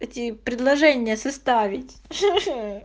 эти предложение составить